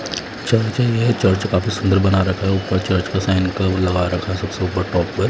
churching है church काफी सुंदर बना रखा है ऊपर चर्च के साइन का वो लगा रखा सबसे ऊपर टॉप पे--